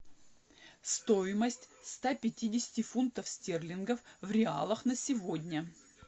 стоимость ста пятидесяти фунтов стерлингов в реалах на сегодня